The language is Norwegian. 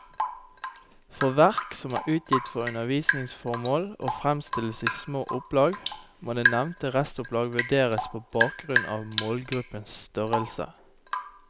For verk som er utgitt for undervisningsformål og fremstilles i små opplag, må det nevnte restopplag vurderes på bakgrunn av målgruppens størrelse.